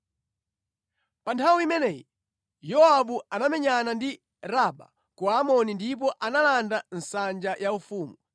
Pa nthawi imeneyi Yowabu anamenyana ndi Raba ku Amoni ndipo analanda nsanja yaufumu.